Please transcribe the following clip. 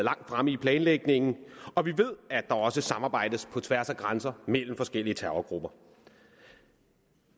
langt fremme i planlægningen og vi ved at der også samarbejdes på tværs af grænser mellem forskellige terrorgrupper